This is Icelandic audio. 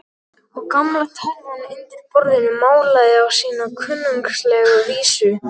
Og gamla tölvan undir borðinu malaði á sína kunnuglegu vísu.